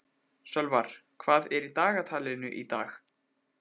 Sölvar, hvað er í dagatalinu í dag?